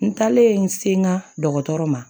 N taalen n se n ka dɔgɔtɔrɔ ma